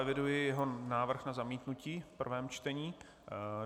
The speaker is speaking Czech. Eviduji jeho návrh na zamítnutí v prvém čtení.